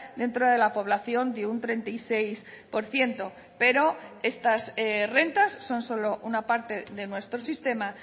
dentro de la población de un treinta y seis por ciento pero estas rentas son solo una parte de nuestro sistema